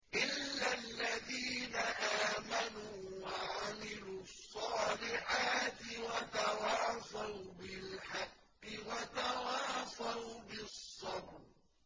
إِلَّا الَّذِينَ آمَنُوا وَعَمِلُوا الصَّالِحَاتِ وَتَوَاصَوْا بِالْحَقِّ وَتَوَاصَوْا بِالصَّبْرِ